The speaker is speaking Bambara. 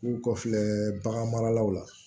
K'u kɔfɛ bagan maralaw la